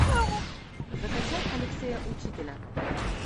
закачай алексея учителя